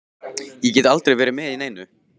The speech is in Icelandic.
Ég get aldrei verið með í neinu.